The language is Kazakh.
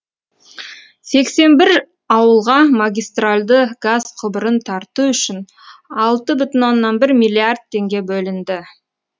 сексен бір ауылға магистральды газ құбырын тарту үшін алты бүтін оннан бір миллиард теңге бөлінді